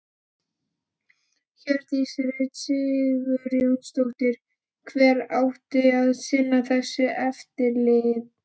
Hjördís Rut Sigurjónsdóttir: Hver átti að sinna þessu eftirliti?